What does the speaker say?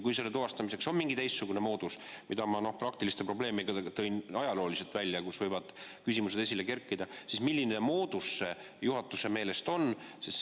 Kui selle tuvastamiseks on mingi teistsugune moodus – ma tõin esile ajaloolisi praktilisi probleeme, kus võivad küsimused esile kerkida –, siis milline moodus see juhatuse meelest on?